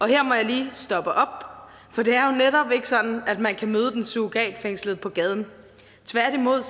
her må jeg lige stoppe op for det er jo netop ikke sådan at man kan møde den surrogatfængslede på gaden tværtimod